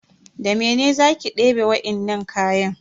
Da mene za ki debe wainnan kayan?